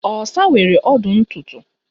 Osa nwere ọdụ ntụ ntụ